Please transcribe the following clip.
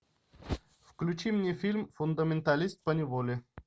включи мне фильм фундаменталист поневоле